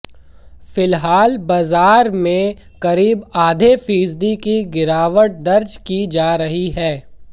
फिलहाल बाजार में करीब आधे फीसदी की गिरावट दर्ज की जा रही है